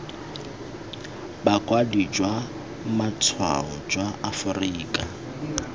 bokwadi jwa matshwao jwa aforika